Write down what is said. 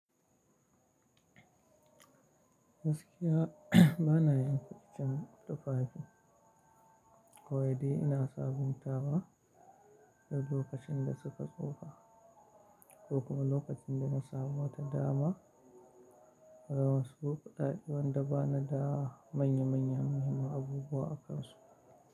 Gaskiya ba na yanke iccen tufafi ko yaɗi ina sabuntawa. Duk lokacin da suka tsufa ko kuma lokacin da na samu wata dama, gama wasu bukatta ɗai wanda bana da manya manyan muhimman abubuwa akansu.